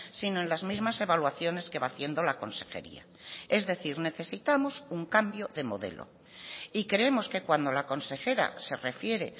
sino en las mismas evaluaciones que va haciendo la consejería es decir necesitamos un cambio de modelo y creemos que cuando la consejera se refiere